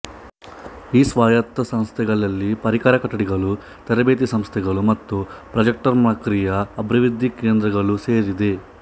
ಈ ಸ್ವಾಯತ್ತ ಸಂಸ್ಥೆಗಳಲ್ಲಿ ಪರಿಕರ ಕೊಠಡಿಗಳು ತರಬೇತಿ ಸಂಸ್ಥೆಗಳು ಮತ್ತು ಪ್ರಾಜೆಕ್ಟ್ಕಮ್ಪ್ರಕ್ರಿಯೆ ಅಭಿವೃದ್ಧಿ ಕೇಂದ್ರಗಳು ಸೇರಿವೆ